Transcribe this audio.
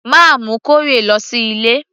mà á mú corrie lọ sí ilé